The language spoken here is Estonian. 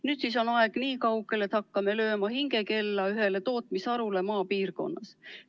Nüüd siis on aeg nii kaugel, et hakkame lööma hingekella ühele tootmisharule maapiirkonnas.